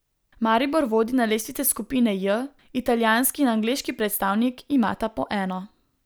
Maribor vodi na lestvici skupine J, italijanski in angleški predstavnik imata po eno.